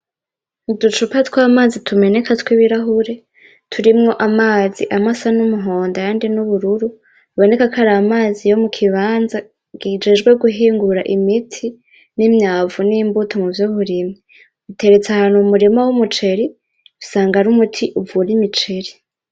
Uducupa tw'amazi tumeneka tw'ibirahuri, turimwo amazi amwe asa n'umuhondo ayandi n'ubururu, biboneka ko ari amazi yo mu kibanza kijejwe guhingura imiti n'imyavu n'imbuto muvy'uburimyi. Buteretse ahantu mu murima w'umuceri, usanga ari umuti uvura imiceri.